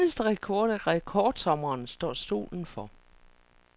Den eneste rekord i rekordsommeren står solen for.